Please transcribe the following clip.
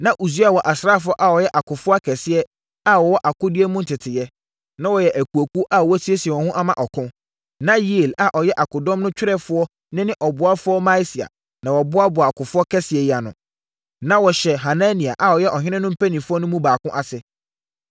Na Usia wɔ asraafoɔ a wɔyɛ akofoɔ akɛseɛ a wɔwɔ akodie mu nteteeɛ. Na wɔyɛ akuakuo a wɔasiesie wɔn ho ama ɔko. Na Yeiel a ɔyɛ akodɔm no twerɛfoɔ ne ne ɔboafoɔ Maaseia na wɔboaboa akofoɔ kɛseɛ yi ano. Na wɔhyɛ Hanania a ɔyɛ ɔhene no mpanimfoɔ no mu baako ase.